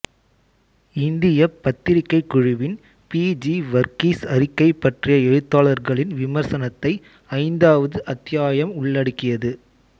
இந்தியப் பத்திர்கை குழுவின் பி ஜீ வர்கீஸ் அறிக்கை பற்றிய எழுத்தாளர்களின் விமர்சனத்தை ஐந்தாவது அத்தியாயம் உள்ளடக்கியது